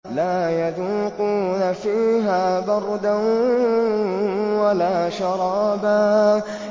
لَّا يَذُوقُونَ فِيهَا بَرْدًا وَلَا شَرَابًا